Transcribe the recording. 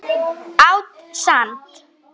Át sand.